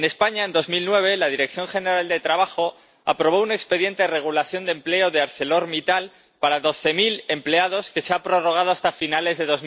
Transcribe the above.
En España, en 2009 la Dirección General de Trabajo aprobó un expediente de regulación de empleo de ArcelorMittal para doce mil empleados que se ha prorrogado hasta finales de